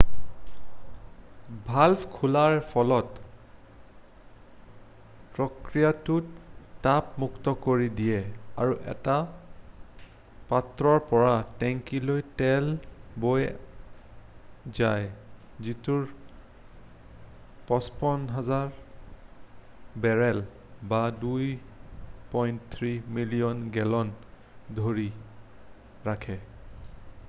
Valve খোলাৰ ফলত প্ৰক্ৰিয়াটোত চাপ মুক্ত কৰি দিয়ে আৰু এটা পাত্ৰৰ পৰা টেংকীলৈ তেল বৈ যায় যিটোৱে 55,000 বেৰেল 2.3 মিলিয়ন গেলন ধৰি ৰাখে।